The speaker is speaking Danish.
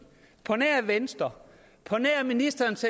på nær venstre på nær ministerens